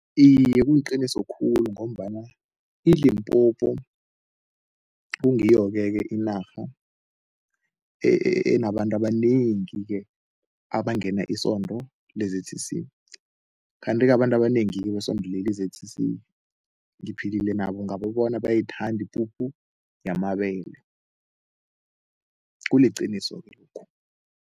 Iye, kuliqiniso khulu ngombana iLimpopo kungiyo-ke ke inarha enabantu abanengi-ke abangena isondo le-Z_C_C kanti-ke abantu abanengi besondo leli i-Z_C_C ngiphilile nabo ngababona, bayayithanda ipuphu yamabele, kuliqiniso-ke lokhu.